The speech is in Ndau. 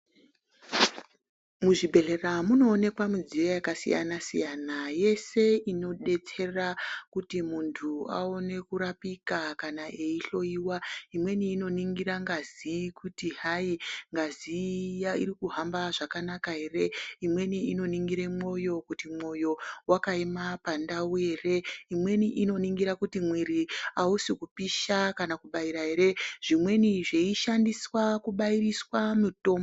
Muzvibhehlera munooneka midziyo yakasiyana siyana yese inodetsera kuti muntu aone kurapika kana eihloiwa imweni inonhingira ngazi kuti hai ngazi iya iri kuhamba zvakanaka ere imweni inoningira moyo kuti moyo wakaema pandau ere imwe kuti miri kuti hausi kupisha ere kana kubaira zvimweni zveishandiswa kubairiswa mutombo.